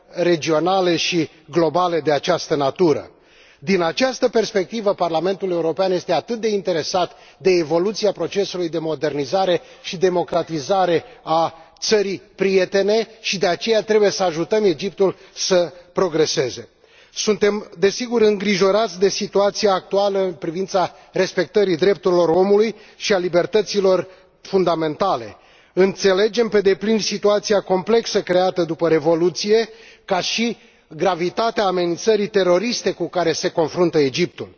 regionale și globale de această natură. Din această perspectivă, Parlamentul European este atât de interesat de evoluția procesului de modernizare și democratizare a țării prietene și de aceea trebuie să ajutăm Egiptul să progreseze. Suntem, desigur, îngrijorați de situația actuală în privința respectării drepturilor omului și a libertăților fundamentale. Înțelegem pe deplin situația complexă creată după Revoluție, ca și gravitatea amenințării teroriste cu care se confruntă Egiptul.